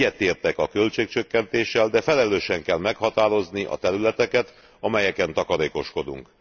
Egyetértek a költségcsökkentéssel, de felelősen kell meghatározni a területeket, amelyeken takarékoskodunk.